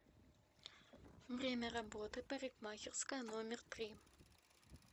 время работы парикмахерская номер три